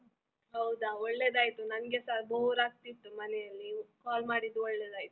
ಹೌದಾ ಒಳ್ಳೆದಾಯಿತು, ನನ್ಗೆಸ bore ಆಗ್ತಿತ್ತು ಮನೆಯಲ್ಲಿ call ಮಾಡಿದ್ದು ಒಳ್ಳೆದಾಯಿತು.